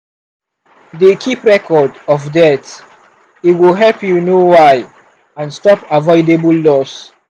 dey keep record of deaths e go help you know why and stop avoidable loss.